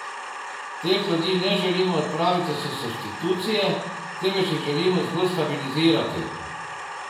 Teh ljudi ne želimo odpraviti s substitucije, temveč jih želimo zgolj stabilizirati.